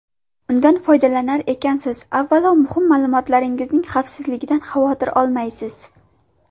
Undan foydalanar ekansiz, avvalo, muhim ma’lumotlaringizning xavfsizligidan xavotir olmaysiz.